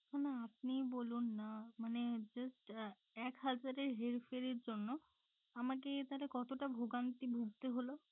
না না আপনি ই বলুন না মানে just এক হাজারের হের ফের এর জন্য আমাকে তাহলে কতটা ভোগান্তি ভুগতে হলো।